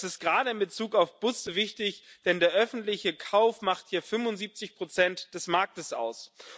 Das ist gerade in Bezug auf Busse wichtig, denn der öffentliche Kauf macht hier 75 des Marktes aus.